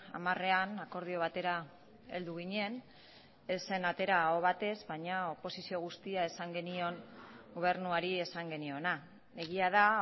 hamarean akordio batera heldu ginen ez zen atera aho batez baina oposizio guztia esan genion gobernuari esan geniona egia da